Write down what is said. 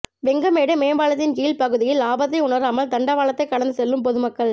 வெங்கமேடு மேம்பாலத்தின் கீழ் பகுதியில் ஆபத்தை உணராமல் தண்டவாளத்தை கடந்து செல்லும் பொதுமக்கள்